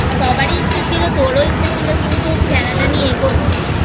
সবারই ইচ্ছে ছিল তোরও ইচ্ছে ছিল কিন্তু খেলাটা নিয়ে এগোনোর